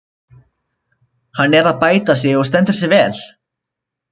Hann er að bæta sig og stendur sig vel.